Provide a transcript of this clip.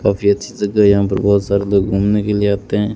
काफी अच्छी जगह है यहां पर बहोत सारे लोग घूमने के लिए आते हैं।